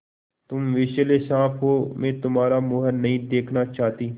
तुम विषैले साँप हो मैं तुम्हारा मुँह नहीं देखना चाहती